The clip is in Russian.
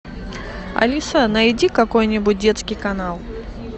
алиса найди какой нибудь детский канал